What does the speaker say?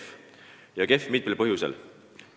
See on kehv mitmel põhjusel.